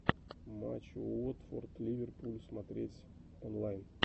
матч уотфорд ливерпуль смотреть онлайн